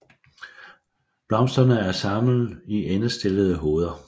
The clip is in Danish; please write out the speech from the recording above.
Blomsterne er samlet i endestillede hoveder